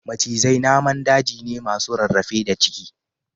Macizai naman daji ne masu rarrafe da ciki